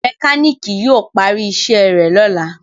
mekaniki yíò pari iṣé rẹ lọla